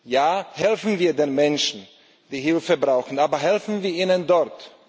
Ja, helfen wir den Menschen, die Hilfe brauchen, aber helfen wir ihnen dort!